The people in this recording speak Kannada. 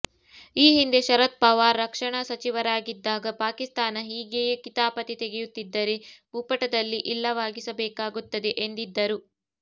ಈ ಹಿಂದೆ ಶರದ್ ಪವಾರ್ ರಕ್ಷಣಾ ಸಚಿವರಾಗಿದ್ದಾಗ ಪಾಕಿಸ್ತಾನ ಹೀಗೆಯೇ ಕಿತಾಪತಿ ತೆಗೆಯುತ್ತಿದ್ದರೆ ಭೂಪಟದಲ್ಲಿ ಇಲ್ಲವಾಗಿಸಬೇಕಾಗುತ್ತದೆ ಎಂದಿದ್ದರು